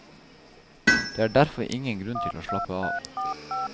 Det er derfor ingen grunn til å slappe av.